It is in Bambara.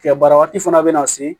Tigɛ bara waati fana bɛna se